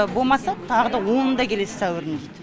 болмаса тағы да онында келесіз сәуірдің дейді